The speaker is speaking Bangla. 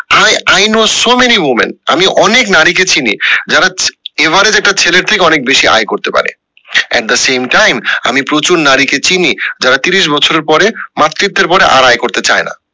i i know so many women আমি অনেক নারী কে চিনি যারা average একটা ছেলের থেকে অনেক বেশি আয় করতে পারে at the same time আমি প্রচুর নারী কে চিনি যারা তিরিশ বছরের পরে মাতৃত্বের পর আর আয় করতে চায় না